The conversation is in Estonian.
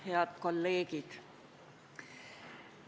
Head kolleegid!